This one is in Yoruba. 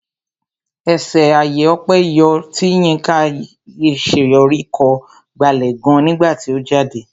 Ẹṣé àyè ọpẹ yọ tí Yinka Alaṣeyori kọ gbalẹ̀ gan nígbà tí ó jáde.